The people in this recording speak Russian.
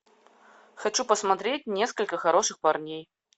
хочу посмотреть несколько хороших парней